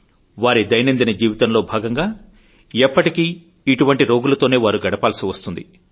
వారి దైనందిన జీవితంలో భాగంగా ఎప్పటికీ ఇటువంటి రోగులతోనే వారు గడపాల్సి వస్తుంది